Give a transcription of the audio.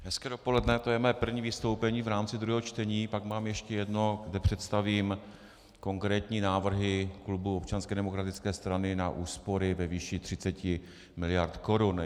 Hezké dopoledne, to je mé první vystoupení v rámci druhého čtení, pak mám ještě jedno, kde představím konkrétní návrhy klubu Občanské demokratické strany na úspory ve výši 30 miliard korun.